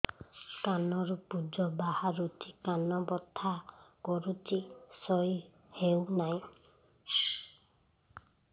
କାନ ରୁ ପୂଜ ବାହାରୁଛି କାନ ବଥା କରୁଛି ଶୋଇ ହେଉନାହିଁ